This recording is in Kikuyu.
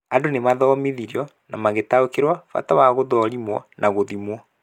Andũ nĩ mathomithirio na magĩtaũkĩrwo bata wa gũthũrimwo na gũthimwo.